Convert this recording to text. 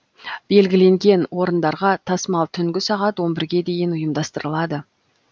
белгіленген орындарға тасымал түнгі сағат он бірге дейін ұйымдастырылады